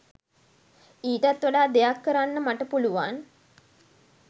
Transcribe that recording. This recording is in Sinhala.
ඊටත් වඩා දෙයක් කරන්න මට පුළුවන්